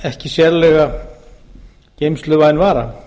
ekki sérlega geymsluvæn vara